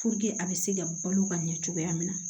a be se ka balo ka ɲɛ cogoya min na